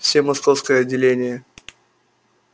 все московское отделение